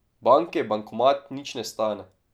Banke bankomat nič ne stane.